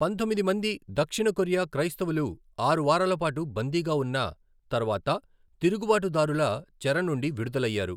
పంతొమ్మిది మంది దక్షిణ కొరియా క్రైస్తవులు ఆరు వారాల పాటు బందీగా ఉన్న తర్వాత తిరుగుబాటుదారుల చెర నుండి విడుదలయ్యారు.